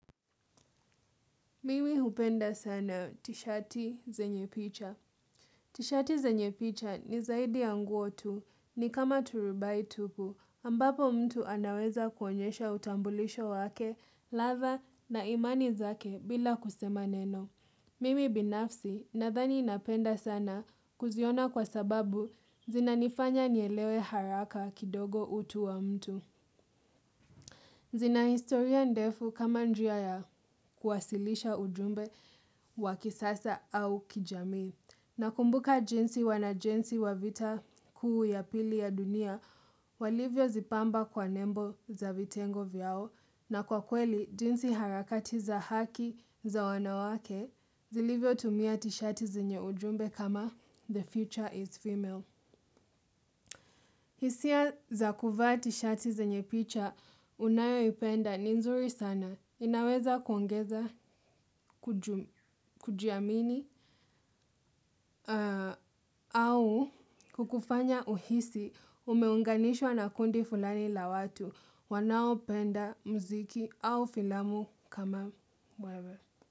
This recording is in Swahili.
Mimi hupenda sana tishati zenye picha. Tishati zenye picha ni zaidi ya nguo tu ni kama turubai tupu ambapo mtu anaweza kuonyesha utambulisho wake ladha na imani zake bila kusema neno. Mimi binafsi nadhani napenda sana kuziona kwa sababu zinanifanya nielewe haraka kidogo utu wa mtu. Zina historia ndefu kama njia ya kuwasilisha ujumbe wakisasa au kijamii. Nakumbuka jinsi wanajeshi wa vita kuu ya pili ya dunia, walivyo zipamba kwa nembo za vitengo vyao na kwa kweli jinsi harakati za haki za wanawake zilivyotumia tishati zenye ujumbe kama the 'future is female'. Hisia za kuvaa tishati zenye picha unayoipenda ni nzuri sana, inaweza kuongeza, kujiamini, au kukufanya uhisi umeunganishwa na kundi fulani la watu wanaopenda muziki au filamu kama wewe.